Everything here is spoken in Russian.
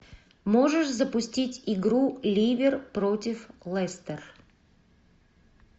можешь запустить игру ливер против лестер